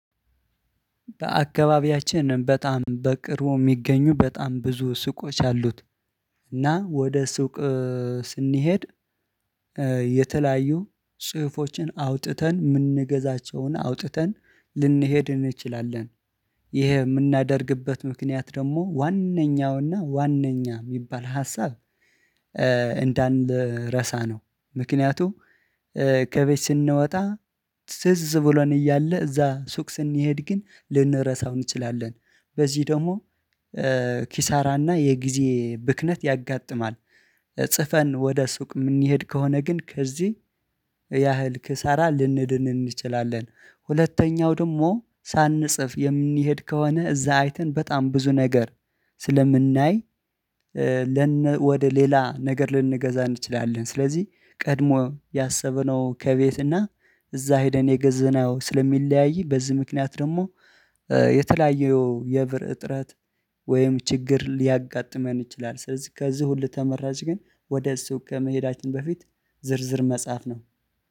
በአካባቢያችን በጣም በቅርቡ የሚገኙ በጣም ብዙ ሱቆች አሉት። እና ወደ ሱቅ ስንሄድ የተለያዩ ጽሁፎችን አውጥተን የምንገዛቸውን አውጥተን ልንሄድ እንችላለን። ይሄ የምናደርግበት ምክንያት ደግሞ ዋነኛውና ዋነኛ የሚባል ሀሳብ እንዳንረሳ ነው። ምክንያቱ ከቤት ስንወጣ ትዝ ብሎን እያለ እዛ ሱቅ ስንሄድ ግን ልንረሳው እንችላለን በዚህ ደግሞ ኪሳራና የጊዜ ብክነት ያጋጥማል። ጽፈን ወደ ሱቅ የምንሄድ ከሆነ ግን ከዚህ ያህል ክሳራ ልንድን እንችላለን። ሁለተኛው ደግሞ ሳንጽፍ የምንሄድ ከሆነ እዛ አይተን በጣም ብዙ ነገር ስለምናይ ወደ ሌላ ነገር ልንገዛ እንችላለን። ስለዚህ ቀድሞ ያሰበነው ከቤት እና እዛ ሄደን የገዘነው ስለሚለያይ በዚህ ምክንያት ደግሞ የተለያዩ የብር እጥረት ወይም ችግር ሊያጋጥመን ይችላል። ስለዚህ ከዚህ ሁሉ ተመራጭ ግን ወደ ሱቅ ከመሄዳችን በፊት ዝርዝር መጽሐፍ ነው።